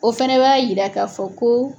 O fana b'a yira ka fɔ ko